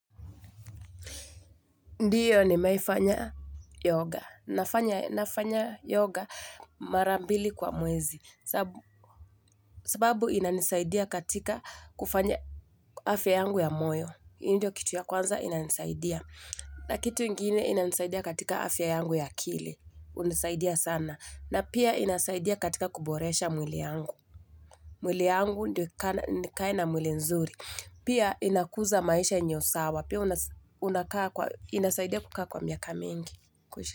Ndiyo nimeai fanya yoga, nafanya nafanya yoga mara mbili kwa mwezi, sababu inanisaidia katika kufanya afya yangu ya moyo, hii ndio kitu ya kwanza inanisaidia, na kitu ingine inanisaidia katika afya yangu ya akili, hunisaidia sana, na pia inasaidia katika kuboresha mwili yangu, mwili yangu ndio nikae mwili nzuri, Pia inakuza maisha enyeo sawa. Pia unakaa kwa inasaidia kukaa kwa miaka mingi.